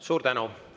Suur tänu!